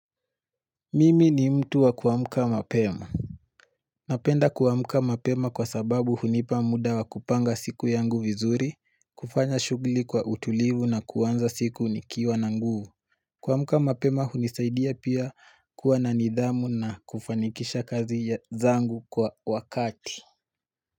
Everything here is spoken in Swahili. Mimi ni mtu wa kuamka mapema Napenda kuamka mapema kwa sababu hunipa muda wa kupanga siku yangu vizuri, kufanya shughuli kwa utulivu na kuanza siku nikiwa na nguvu kuamka mapema hunisaidia pia kuwa na nidhamu na kufanikisha kazi zangu kwa wakati.